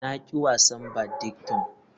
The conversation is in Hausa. Na ƙi wasa badington.